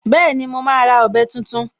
Bẹ́ẹ̀ni, mo máa ra ọ̀bẹ tuntun